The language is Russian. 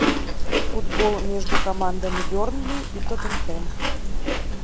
футбол между командами бернли и тоттенхэм